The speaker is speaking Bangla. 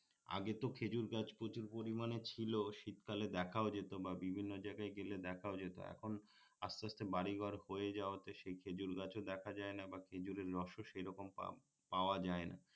আগে তো খেজুর গাছ প্রচুর পরিমানে ছিল শীত কালে দেখাও যেত বা বিভিন্ন জায়গায় গেলে দেখাও যেত এখন আস্তে আস্তে বাড়িঘর হয়ে যাওয়াতে সেই খেজুর গাছও দেখা যায় না বা খেজুরের রসও সেই রকম পাওয়া যায় না